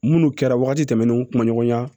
Munnu kɛra wagati tɛmɛnnenw kuma ɲɔgɔnya